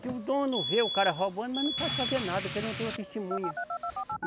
Se o dono vê o cara roubando, mas não pode fazer nada, porque ele não tem uma testemunha.